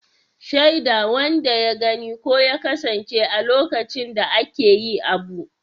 Shaida wanda ya gani ko ya kasance a lokacin da ake yi abu.